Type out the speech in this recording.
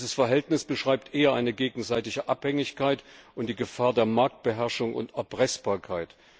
Dieses Verhältnis beschreibt eher eine gegenseitige Abhängigkeit und die Gefahr der Marktbeherrschung und Erpressbarkeit.